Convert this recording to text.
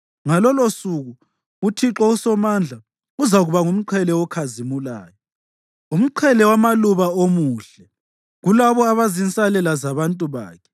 Ngalolosuku uThixo uSomandla uzakuba ngumqhele okhazimulayo, umqhele wamaluba omuhle kulabo abayizinsalela zabantu bakhe.